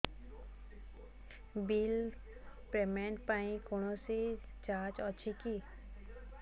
bill payment ପାଇଁ କୌଣସି charge ଅଛି କି